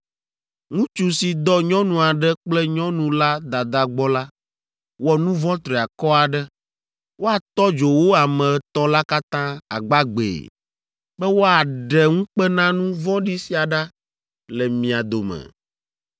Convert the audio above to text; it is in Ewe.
“ ‘Ŋutsu si dɔ nyɔnu aɖe kple nyɔnu la dada gbɔ la, wɔ nu vɔ̃ triakɔ aɖe. Woatɔ dzo wo ame etɔ̃ la katã agbagbee be wòaɖe ŋukpenanu vɔ̃ɖi sia ɖa le mia dome.